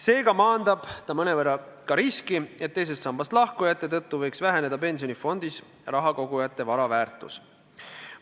Seega maandab ta mõnevõrra ka riski, et teisest sambast lahkujate tõttu võiks väheneda pensionifondis raha kogujate vara väärtus.